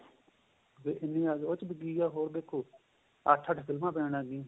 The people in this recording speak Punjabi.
ਉਹ ਚ ਇੱਕ ਗੱਲ ਹੋਰ ਦੇਖੋ ਅੱਠ ਅੱਠ ਫ਼ਿਲਮਾਂ ਪੈਣ ਲੱਗ ਗਈਆਂ